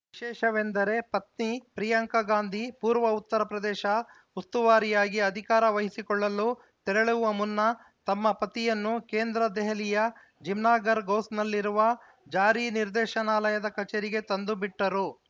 ವಿಶೇಷವೆಂದರೆ ಪತ್ನಿ ಪ್ರಿಯಾಂಕಾ ಗಾಂಧಿ ಪೂರ್ವ ಉತ್ತರ ಪ್ರದೇಶ ಉಸ್ತುವಾರಿಯಾಗಿ ಅಧಿಕಾರ ವಹಿಸಿಕೊಳ್ಳಲು ತೆರಳುವ ಮುನ್ನ ತಮ್ಮ ಪತಿಯನ್ನು ಕೇಂದ್ರ ದೆಹಲಿಯ ಜಮ್ನಾಗರ್‌ ಗೌಸ್‌ನಲ್ಲಿರುವ ಜಾರಿ ನಿರ್ದೇಶನಾಲಯದ ಕಚೇರಿಗೆ ತಂದು ಬಿಟ್ಟರು